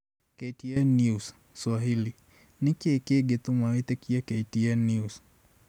KTN News Swahili: Nĩkĩ kĩngĩtũma wĩtĩkie KTN News